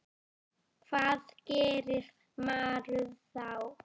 Hvað gerir maður þá?